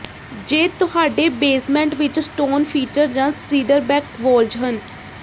ਜੇ ਤੁਹਾਡੇ ਬੇਸਮੈਂਟ ਵਿੱਚ ਸਟੋਨ ਫੀਚਰ ਜਾਂ ਸੀਡਰਬੈਕ ਵੋਲਜ਼ ਹਨ